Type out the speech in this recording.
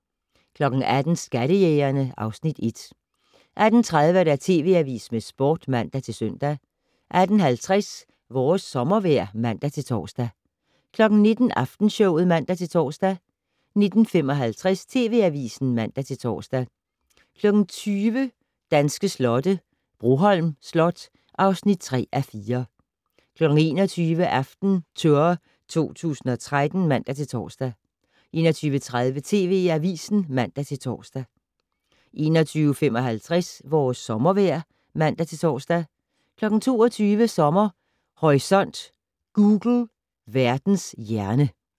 18:00: Skattejægerne (Afs. 1) 18:30: TV Avisen med Sporten (man-søn) 18:50: Vores sommervejr (man-tor) 19:00: Aftenshowet (man-tor) 19:55: TV Avisen (man-tor) 20:00: Danske slotte - Broholm Slot (3:4) 21:00: AftenTour 2013 (man-tor) 21:30: TV Avisen (man-tor) 21:55: Vores sommervejr (man-tor) 22:00: Sommer Horisont: Google - Verdens hjerne